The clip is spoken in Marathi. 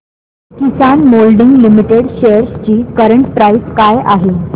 किसान मोल्डिंग लिमिटेड शेअर्स ची करंट प्राइस काय आहे